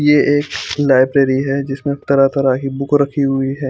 ये एक लाइब्रेरी है जिसमे तरह तरह की बुक रखी हुई है।